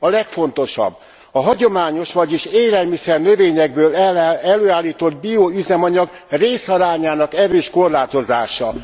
A legfontosabb a hagyományos, vagyis élelmiszer növényekből előállított bioüzemanyag részarányának erős korlátozása.